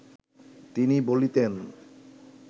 তিনি বলিতেন